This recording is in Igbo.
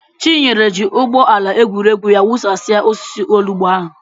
Chinyere ji ụgbọ ala egwuregwu ya wụsasịa osisi olugbu ahụ.